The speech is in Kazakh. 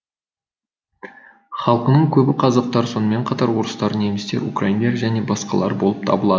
халқының көбі қазақтар сонымен қатар орыстар немістер украиндер және басқалары болып табылады